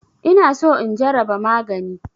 Ina so in jaraba magani.